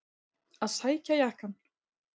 Að sækja jakkann!